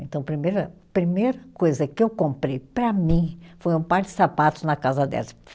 Então primeira, primeira coisa que eu comprei, para mim, foi um par de sapatos na casa.